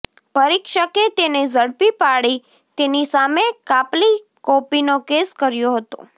પરીક્ષકે તેને ઝડપી પાડી તેની સામે કાપલી કોપીનો કેસ કર્યો હતો